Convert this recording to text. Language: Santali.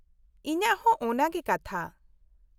-ᱤᱧᱟᱹᱜ ᱦᱚᱸ ᱚᱱᱟᱜᱮ ᱠᱟᱛᱷᱟ ᱾